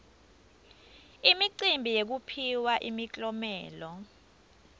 imicimbi yekuphiwa imiklomelo